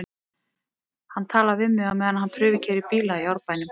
Hann talar við mig á meðan hann prufukeyrir bíla í Árbænum.